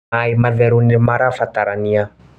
maĩ matheru nĩmarabatarania